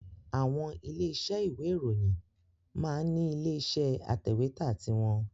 Àwọn ilé-isẹ́ ìwé ìròyìn máa ń ní ilé iṣẹ́ atẹ̀wẹ́tà ti wọn